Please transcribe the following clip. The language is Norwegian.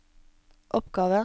oppgave